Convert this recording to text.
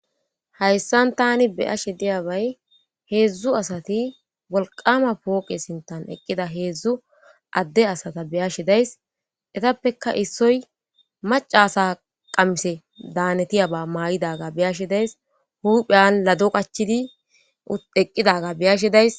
hayssan tani beyashe diyabay heedzdzu asati wolqama pooqe sintan eqqida heedzdzu adde asata beyashe days etappeka issoy maca asa qamise daanetiyaba maay7idaga beyashe days hupheyan lado qachidi eqqidaga beyashe days